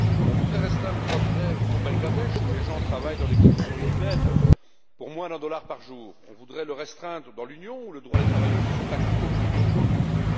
On voudrait restreindre le droit de grève au Bangladesh, où les gens travaillent dans des conditions inhumaines pour moins d'un dollar par jour, on voudrait le restreindre dans l'Union où les droits des travailleurs se sont acquis au prix de hautes luttes.